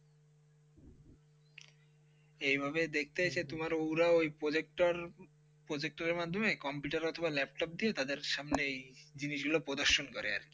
এইভাবে দেখতে এসে তোমার ওরাও প্রজেক্টর প্রজেক্টের মাধ্যমে কম্পিউটারে মাধ্যমে কম্পিউটার অথবা ল্যাপটপ দিয়ে তাদের সামনে এই জিনিসগুলো প্রদর্শন করে আর কি.